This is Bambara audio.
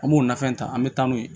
An b'o nafɛnw ta an be taa n'o ye